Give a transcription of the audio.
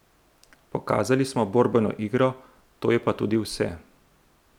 Pokazali smo borbeno igro, to je pa tudi vse.